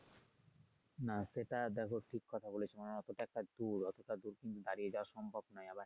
না সেটা দেখো ঠিক কথা বলেছো আহ অতটা দূর ওতটা দূর কিন্তু দাঁড়িয়ে যাওয়া সম্ভব না আবার।